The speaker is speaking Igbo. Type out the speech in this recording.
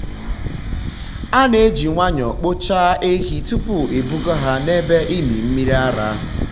a na-eji nwayọọ kpochaa ehi tupu ebuga ha n’ebe ịmị mmiri ara.